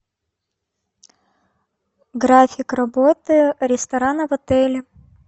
график работы ресторана в отеле